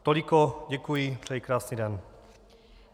Toliko, děkuji, přeji krásný den.